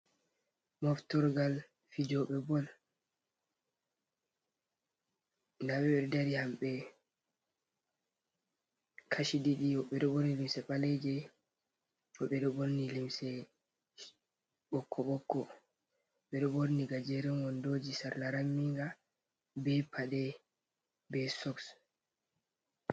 Moftorgal fijooɓe bol ndaa ɓe dari hamɓe kaci ɗiɗi woɓɓe, ɗo ɓorni limse ɓaleeje ,woɓɓe ɗo borni limse ɓokko ɓokko, ɓe ɗo duhi gajeren wonndooji sarla raminga, be paɗe, be soks.